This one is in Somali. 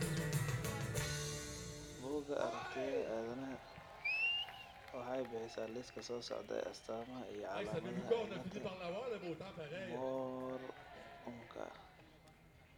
Bugga Aaragtiyaga Aadanaha waxay bixisaa liiska soo socda ee astamaha iyo calaamadaha cilada MORMka .